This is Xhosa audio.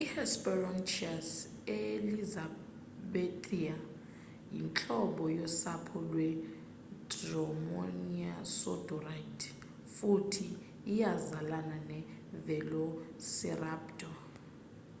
i-hesperonychus elizabethae yintlobo yosapho lwe-dromaeosauride futhi iyazalana ne-velociraptor